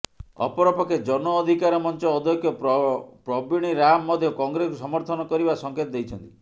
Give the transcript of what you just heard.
ଅପରପକ୍ଷେ ଜନ ଅଧିକାର ମଞ୍ଚ ଅଧ୍ୟକ୍ଷ ପ୍ରବୀଣ ରାମ ମଧ୍ୟ କଂଗ୍ରେସକୁ ସମର୍ଥନ କରିବା ସଂକେତ ଦେଇଛନ୍ତି